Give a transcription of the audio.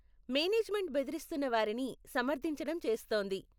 Management బెదిరిస్తున్నవారిని సమర్ధించటం చేస్తోంది.